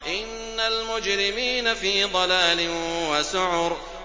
إِنَّ الْمُجْرِمِينَ فِي ضَلَالٍ وَسُعُرٍ